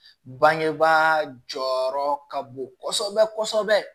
Bangebaa jɔyɔrɔ ka bon kosɛbɛ kosɛbɛ